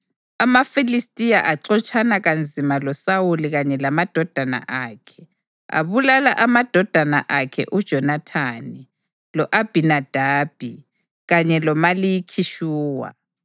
AmaFilistiya axotshana kanzima loSawuli kanye lamadodana akhe, abulala amadodana akhe uJonathani, lo-Abhinadabi kanye loMalikhi-Shuwa.